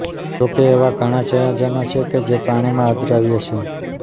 જો કે એવા ઘણા સંયોજનો છે કે જે પાણીમાં અદ્રાવ્ય છે